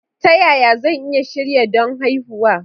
Ta yaya zan iya shirya don haihuwa?